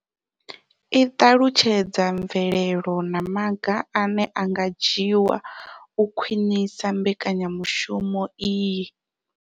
I ṱalutshedza mvelelo na maga ane a nga dzhiwa u khwinisa mbekanyamushumo iyi.